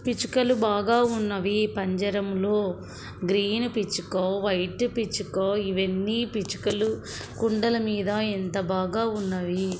పిచ్చుకలు బాగా ఉన్నది పంజరంలో గ్రీన్ పిచ్చుక వైట్ పిచ్చుక ఇవన్నీ పిచ్చుకలు కుండల మీద ఎంత బాగా ఉన్నాయి.